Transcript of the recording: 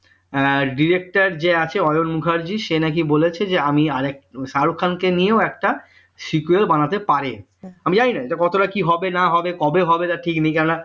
director যে আছে অমল মুখার্জি সে নাকি বলেছে যে আমি আর একটা শাহরুখ খানকে নিয়ে sql বানাতে পারি আমি জানিনা কতটা কি হবে না হবে কবে হবে তার কোন ঠিক নেই কেননা